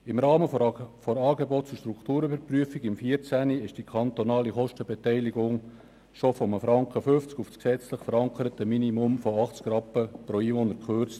Im Rahmen der Angebots- und Strukturüberprüfung (ASP) 2014 wurde die kantonale Kostenbeteiligung schon von 1,50 Franken auf das gesetzlich verankerte Minimum von 80 Rappen pro Einwohner gekürzt.